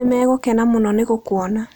Nĩ megũkena mũno nĩ gũkũona.